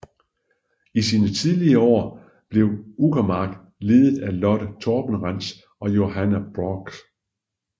I sine tidlige år var blev Uckermark ledet af Lotte Toberentz og Johanna Braach